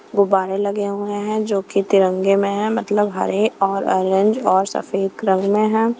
गुब्बारे लगे हुए हैं जो कि तिरंगे में हैमतलब हरे और ऑरेंज और सफेद रंग में हैं।